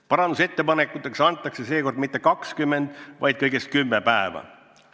Parandusettepanekuteks antakse seekord mitte 20, vaid kõigest 10 päeva.